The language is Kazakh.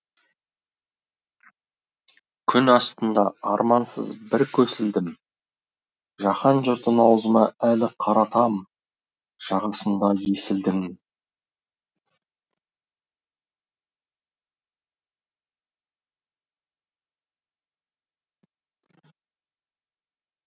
күн астында армансыз бір көсілдім жаһан жұртын аузыма әлі қаратам жағасында есілдің